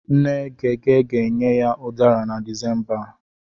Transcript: Nne Gege ga-enye ya Udara na Disemba a.